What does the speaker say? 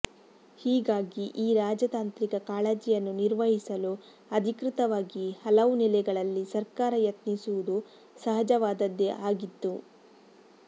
ಹೀಗಾಗಿ ಈ ರಾಜತಾಂತ್ರಿಕ ಕಾಳಜಿಯನ್ನು ನಿರ್ವಹಿಸಲು ಅಧಿಕೃತವಾಗಿ ಹಲವು ನೆಲೆಗಳಲ್ಲಿ ಸರ್ಕಾರ ಯತ್ನಿಸುವುದು ಸಹಜವಾದದ್ದೇ ಆಗಿತ್ತು